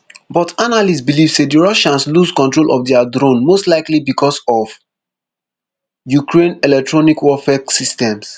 but analysts believe say di russians lose control of dia drone most likely bicos of ukraine electronic warfare systems